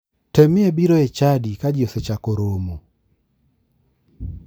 Temie biro e chadi ka ji osechako romo.